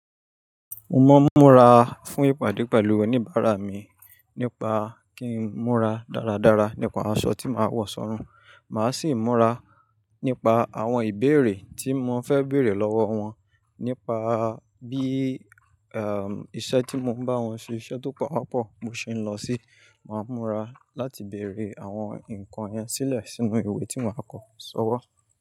Mo mọ n múra fún ìpàdé pẹ̀lú oníbàárà mi nípa kí n múra dáradára nípa aṣọ tí màá wọ̀ sọ́run. Màá sì múra nípa àwọn ìbéèrè tí mo fẹ́ bèèrè lọ́wọ́ wọn, nípa bí iṣẹ́ tí mo ń bá wọn ṣe iṣẹ́ tó pawápọ̀ bo ṣe ń lọ sí. Màá múra láti bèèrè àwọn nǹkan yẹn sílẹ̀ sínú ìwé tí màá kọ sọ́wọ́.